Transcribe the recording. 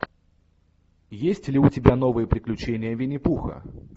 есть ли у тебя новые приключения винни пуха